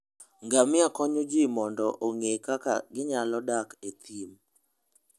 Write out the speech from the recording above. Ngamia konyo ji mondo ong'e kaka ginyalo dak e thim.